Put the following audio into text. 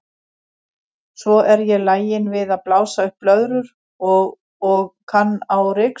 Svo er ég lagin við að blása upp blöðrur og og kann á ryksugu.